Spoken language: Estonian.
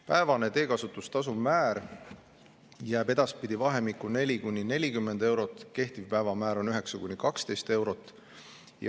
Päevane teekasutustasu määr jääb edaspidi vahemikku 4–40 eurot, kehtiv päevamäär on 9–12 eurot.